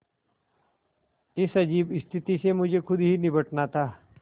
इस अजीब स्थिति से मुझे खुद ही निबटना था